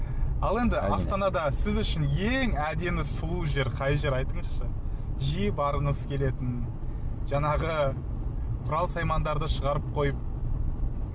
ал енді астанада сіз үшін ең әдемі сұлу жер қай жер айтыңызшы жиі барғыңыз келетін жаңағы құрал саймандарды шығарып қойып